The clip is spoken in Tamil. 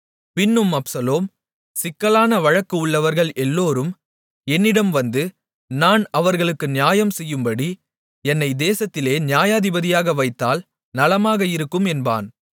பின்னும் அப்சலோம் சிக்கலான வழக்கு உள்ளவர்கள் எல்லோரும் என்னிடம் வந்து நான் அவர்களுக்கு நியாயம் செய்யும்படி என்னை தேசத்திலே நியாயாதிபதியாக வைத்தால் நலமாக இருக்கும் என்பான்